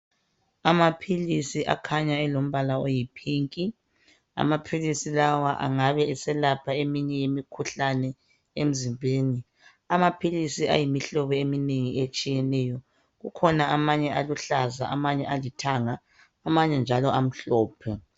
Amaphilisi akhanya elombala oyipink amaphilisi lawa engabe eselapha eminye imikhuhlane emzimbeni amaphilisi ayimihlobo eminengi etshiyeneyo kukhona amanye njalo aluhlaza amanje njalo amhlophe